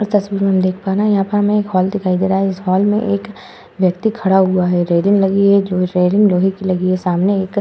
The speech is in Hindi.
इस तस्वीर में हम देख पा रहे हैं यहाँ पे हमें एक हॉल दिखाई दे रहा है। इस हॉल में एक व्यक्ति खड़ा हुआ है। रेलिंग लगी है जो रेलिंग लोहे की लगी है। सामने एक --